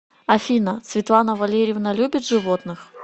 афина светлана валерьевна любит животных